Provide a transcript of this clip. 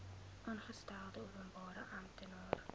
aangestelde openbare amptenaar